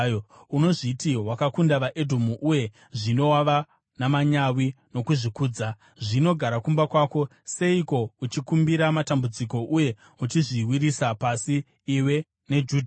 Unozviti wakakunda vaEdhomu uye zvino wava namanyawi nokuzvikudza. Zvino gara kumba kwako! Seiko uchikumbira matambudziko uye uchizviwisira pasi iwe neJudhawo?”